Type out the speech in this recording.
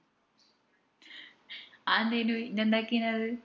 അതെന്തേനു ഇഞ എന്താക്കിനാ അത്?